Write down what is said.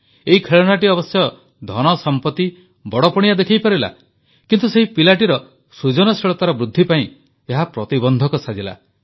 ଏହି ଖେଳଣାଟି ଅବଶ୍ୟ ଧନ ସମ୍ପତ୍ତି ବଡ଼ପଣିଆ ଦେଖାଇପାରିଲା କିନ୍ତୁ ସେହି ପିଲାଟିର ସୃଜନଶୀଳତାର ବୃଦ୍ଧି ପାଇଁ ଏହା ପ୍ରତିବନ୍ଧକ ସାଜିଲା